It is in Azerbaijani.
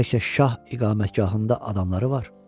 Bəlkə şah iqamətgahında adamları var?